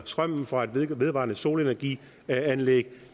strømmen fra et vedvarende solenergi anlæg